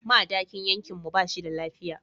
Madakin yankin mu ba shi da lafiya.